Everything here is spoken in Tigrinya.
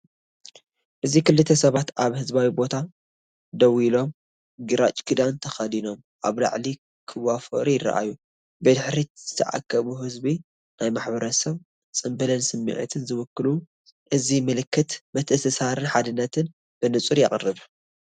እዚ ክልተ ሰባት ኣብ ህዝባዊ ቦታ ደው ኢሎም፡ ግራጭ ክዳን ተኸዲኖም፡ ኣብ ዕላል ክዋፈሩ ይረኣዩ። ብድሕሪት ዝተኣከቡ ህዝቢ ናይ ማሕበረሰብን ጽምብልን ስምዒት ዝውክሉ፤ እዚ ምልክት ምትእስሳርን ሓድነትን ብንጹር የቕርብ።